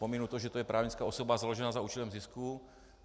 Pominu to, že je to právnická osoba založená za účelem zisku.